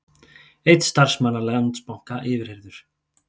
Einn starfsmanna Landsbanka yfirheyrður